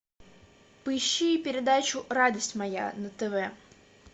поищи передачу радость моя на тв